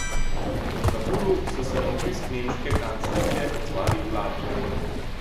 V Kabulu so se na obisk nemške kanclerke odzvali hladno.